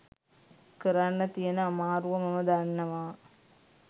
කරන්න තියෙන අමාරුව මම දන්නවා.